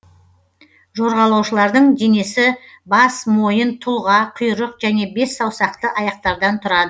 жорғалаушылардың денесі бас мойын тұлға құйрық және бессаусақты аяқтардан тұраад